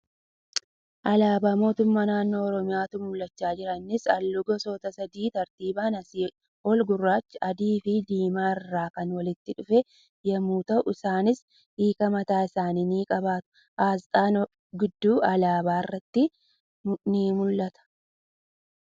Alaabaa Nootummaa Naannoo Oromiyaatu mul'achaa jira. Innis halluu gosoota sadii tartiiban asii ol gurraacha, adiifi diimaai rraa kan walitti dhufe yemmuu ta'u isaanis hiika mataa isaanii ni qabaatu. Asxaan Odaa gidduu alaabaa irratti ni mul'ata.